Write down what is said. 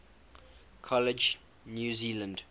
college new zealand